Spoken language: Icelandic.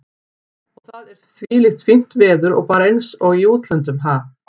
Og það er þvílíkt fínt veður og bara eins og í útlöndum, ha?